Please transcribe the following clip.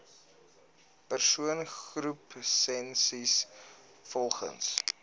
persoon groepsessies volgens